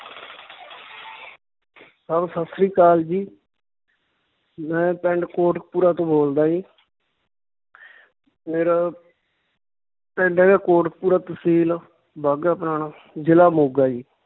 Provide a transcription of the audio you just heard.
ਸਤਿ ਸ੍ਰੀ ਅਕਾਲ ਜੀ ਮੈਂ ਪਿੰਡ ਕੋਟਕਪੁਰਾ ਤੋਂ ਬੋਲਦਾ ਜੀ ਮੇਰਾ ਪਿੰਡ ਹੈਗਾ ਕੋਟਕਪੁਰਾ, ਤਹਿਸੀਲ ਬਾਘਾ ਪੁਰਾਣਾ ਜ਼ਿਲ੍ਹਾ ਮੋਗਾ ਜੀ